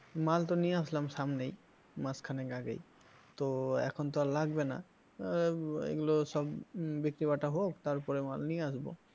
মাল তো নিয়ে আসলাম সামনেই মাসখানেক আগেই, তো এখন তো আর লাগবে না আহ এগুলো সব বিক্রি বাটা হোক তারপরে মাল নিয়ে আসব।